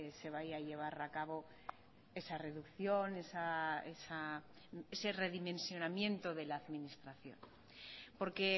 se vaya a llevar a cabo esa reducción ese redimensionamiento de la administración porque